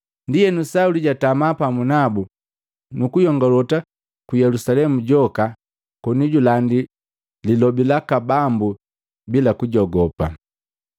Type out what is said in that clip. Ndienu, Sauli jatama pamu nabu, nukuyongolota Yelusalemu joka koni julandi lilobi laka Bambu bila kujogopa.